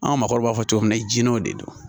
An ka maakɔrɔw b'a fɔ cogo min na jinɛw de don